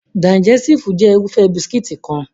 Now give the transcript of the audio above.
Digẹstive jẹ́ Irúfẹ́ bisikíìtì kan